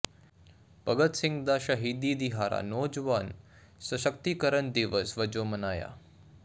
ਭਗਤ ਸਿੰਘ ਦਾ ਸ਼ਹੀਦੀ ਦਿਹਾੜਾ ਨੌਜਵਾਨ ਸਸ਼ਕਤੀਕਰਨ ਦਿਵਸ ਵਜੋਂ ਮਨਾਇਆ